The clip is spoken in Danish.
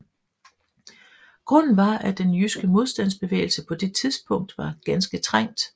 Grunden var at den jyske modstandsbevægelse på det tidspunkt var ganske trængt